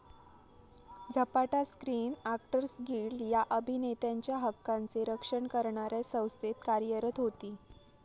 झपाटा screen actors guild या अभिनेत्यांच्या हक्कांचे रक्षण करणाऱ्या संस्थेत कार्यरत होती.